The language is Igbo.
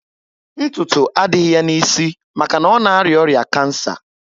Ntutu adịghị ya na isi maka ọ na aria oya kansa